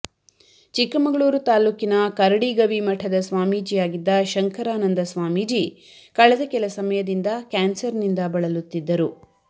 ಚಿಕ್ಕಮಗಳೂರು ತಾಲೂಕಿನ ಕರಡಿಗವಿ ಮಠದ ಸ್ವಾಮೀಜಿಯಾಗಿದ್ದ ಶಂಕರಾನಂದ ಸ್ವಾಮೀಜಿ ಕಳೆದ ಕೆಲ ಸಮಯದಿಂದ ಕ್ಯಾನ್ಸರ್ ನಿಂದ ಬಳಲುತ್ತಿದ್ದರು